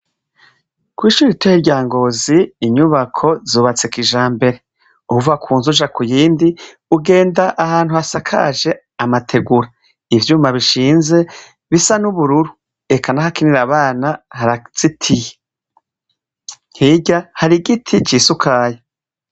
Kw'ishure ritoyi rya Ngozi inyubako zubatse kijambere, uva ku nzu uja kuyindi ugenda ahantu hasakaje amategura , ivyuma bishinze bisa n'ubururu, eka n'ahakinira abana harazitiye, hirya hari igiti cisukaye.